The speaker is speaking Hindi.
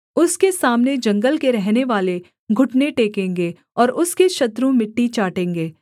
उसके सामने जंगल के रहनेवाले घुटने टेकेंगे और उसके शत्रु मिट्टी चाटेंगे